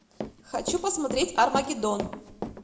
хочу посмотреть армагеддон